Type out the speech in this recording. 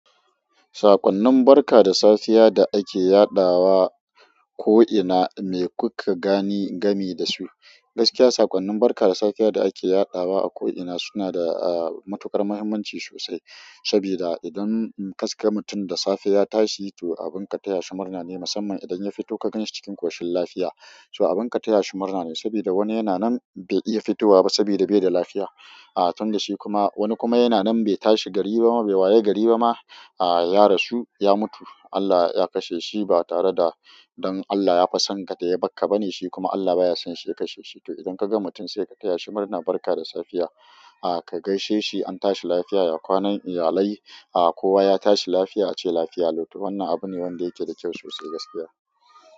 Saƙonnin barka da safiya da ake yaɗawa ko'ina, me kuka gani game da su? Gaskiya saƙonnin barka da safiya da ake yaɗawa a ko'ina suna da matuƙar muhimmanci sosai. Sabida idan kaska mutum da safe ya tashi, to abin ka taya shi murna ne. Musamman idan ya fito ka ganshi cikin ƙoshin lafiya abin ataya shi murna ne sabida wani yana nan bai iya fitowa ba sabida bai da lafiya. Tun da shi kuma wani kuma yana nan bai tashi gari ba ma, bai waye gari ba ma, ya rasu, ya mutu. Allah ya kashe shi ba tare da don Allah ya fasanka da ya bakka ba ne. Shi kuma Allah baya son shi ya kashe shi. To idan ka ga mutum sai ka taya shi murna, barka da safiya, ka gaishe shi an tashi lafiya, ya kwana iyalai kowa ya tashi lafiya, ace lafiya lau. To wannan abu ne wanda yake da kyau sosai gaskiya.